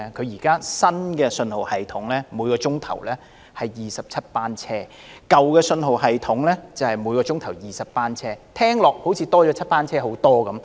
現時新信號系統每小時有27班車，舊信號系統每小時有20班車，多了7班車，載客量似乎增加不少。